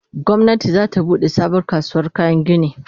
gwamnati zata buɗe sabuwar kasuwar kayan gini